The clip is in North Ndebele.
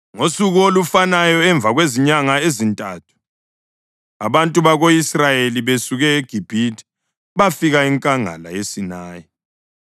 Ngosuku olufanayo, emva kwezinyanga ezintathu abantu bako-Israyeli besuke eGibhithe bafika enkangala yeSinayi.